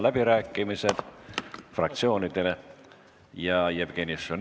Avan fraktsioonide läbirääkimised.